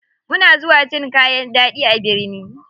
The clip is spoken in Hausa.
Muna zuwa cin kayan ɗaɗi a birni.